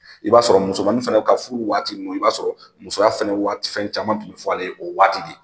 I b'a sɔrɔ musomani fana ka furu waati ninnu, i b'a sɔrɔ musoya fana waati fɛn caman tun bɛ fɔ ale ye o waati de.